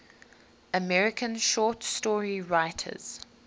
american short story writers